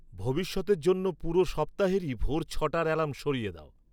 ভবিষ্যতের জন্য পুরো সপ্তাহেরই ভোর ছয়টার অ্যালার্ম সরিয়ে দাও